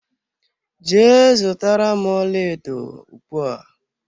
Jee zụtara m ọlaedo ugbua!